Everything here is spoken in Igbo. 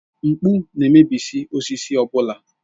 Mkpụ na-emebi osisi ọ bụla.